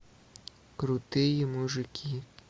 крутые мужики